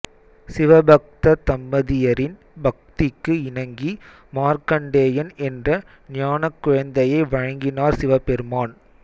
சிவபக்த தம்பதியரின் பக்திக்கு இணங்கி மார்க்கண்டேயன் என்ற ஞானக் குழந்தையை வழங்கினார் சிவபெருமான்